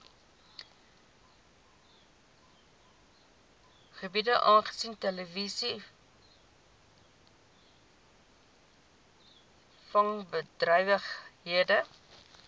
gebiede aangesien treilvisvangbedrywighede